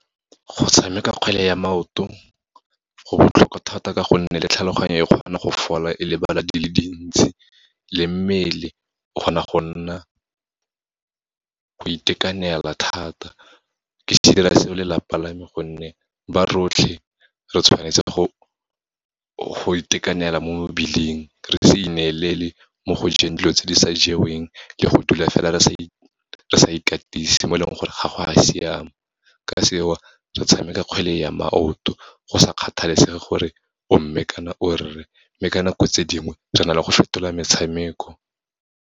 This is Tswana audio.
Go tshameka kgwele ya maoto, go botlhokwa thata ka gonne le tlhaloganyo e kgona go fola e lebala di le dintsi, le mmele o kgona go nna, go itekanela thata. Ke dira se o lelapa lame gonne, ba rotlhe re tshwanetse go itekanela mo mebileng, re se ineelela mo go jeng dilo tse di sa jeweng, le go dula fela re sa ikatise, mo e leng gore ga go a siama. Ka seo, re tshameka kgwele ya maoto, go sa kgathalesege gore o mme kana o rre, mme ka nako tse dingwe re na le go fetola metshameko.